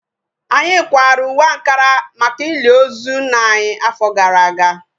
Anyị kwara uwe ankara maka ili ozu nna anyị afọ gara aga